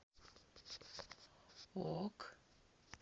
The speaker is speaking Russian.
ок